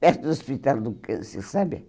Perto do Hospital do Câncer, sabe?